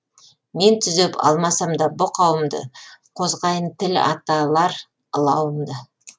мен түзеп алмасам да бұ қауымды қозғайын тіл аталар ылауымды